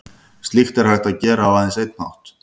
Slíkt er hægt að gera á aðeins einn hátt.